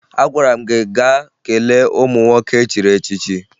Agwara m gị gaa kelee ụmụ nwoke echiri echichi!